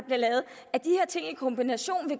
ting i kombination